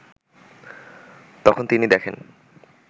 তখন তিনি দেখেন